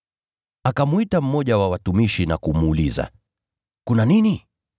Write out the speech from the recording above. Akamwita mmoja wa watumishi na kumuuliza, ‘Kuna nini?’